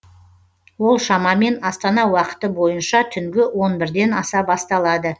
ол шамамен астана уақыты бойынша түнгі он бірден аса басталады